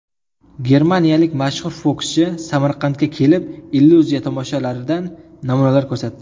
Germaniyalik mashhur fokuschi Samarqandga kelib illyuziya tomoshalaridan namunalar ko‘rsatdi .